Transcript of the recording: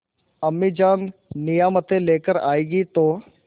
अम्मीजान नियामतें लेकर आएँगी तो